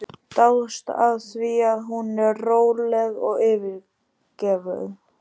Dáðst að því hvað hún er róleg og yfirveguð.